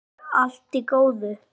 Enn er allt í góðu.